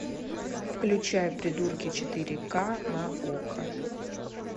включай придурки четыре ка на окко